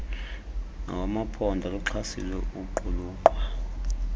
nawamaphondo akuxhasile ukuqulunqwa